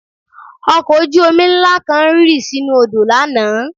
Ọkọ̀ ojú-omi ńlá kan rì sínú odò lánàá